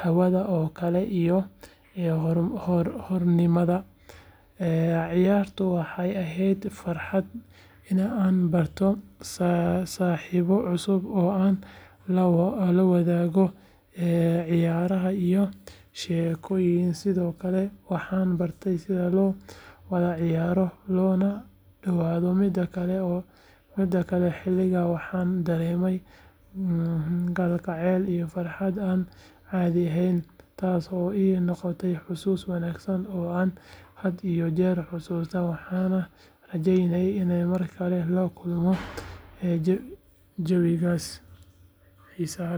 hawada oo kale iyo xornimada ciyaartu waxay ahayd fursad aan ku barto saaxiibo cusub oo aan la wadaago ciyaaraha iyo sheekooyinka sidoo kale waxaan bartay sida loo wada ciyaaro loona dhowro midba midka kale xilligaa waxaan dareemay kalgacal iyo farxad aan caadi ahayn taas oo ii noqotay xasuus wanaagsan oo aan had iyo jeer xusuusto waxaana rajeynayaa inaan mar kale la kulmo jawigaas xiisaha leh.